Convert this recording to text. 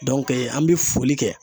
an bɛ foli kɛ.